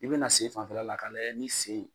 I be na sen fanfɛla la ka lajɛ ni sen